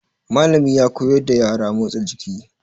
Mallami ya koyar da yara motsa jiki.